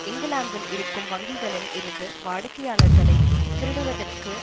இங்கிலாந்தில் இருக்கும் வங்கிகளில் இருந்து வாடிக்கையாளர்களை திருடுவதற்கு